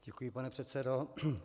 Děkuji, pane předsedo.